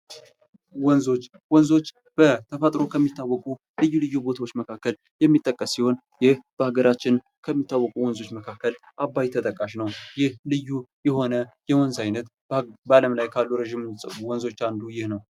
ወንዞች በተፈጥሮ ከሚታወቁ ልዩ ልዩ ቦታዎች መካከል የሚጠቀስ ሲሆን ይህ በሀገራችን ከሚታወቁ ወንዞች መካከል አባይ ተጠቃሽ ነው። ይህ ልዩ የሆነ የወንዝ አይነት በአለም ላይ ካሉ ረጅም ወንዞች አንዱ ይህ ነው።